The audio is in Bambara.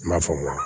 N m'a fɔ